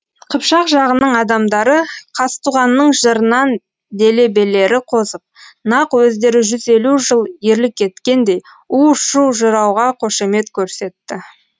қыпшақ жағының адамдары қазтуғанның жырынан делебелері қозып нақ өздері жүз елу жыл ерлік еткендей у шу жырауға қошемет көрсетті